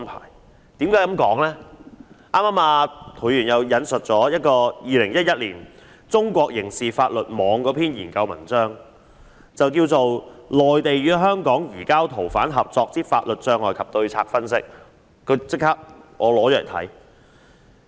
涂議員剛才引述了2011年中國刑事法律網的一篇研究文章，題為"內地與香港移交逃犯合作之法律障礙及對策分析"，我便立即拿了來看。